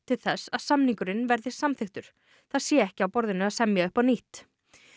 til þess að samningurinn veðri samþykktur það sé ekki á borðinu að semja upp á nýtt